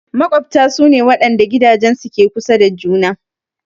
Maƙwabta su ne waɗanda gidajensu ke kusa da juna.